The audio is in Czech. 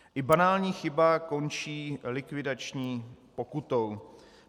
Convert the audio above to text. I banální chyba končí likvidační pokutou.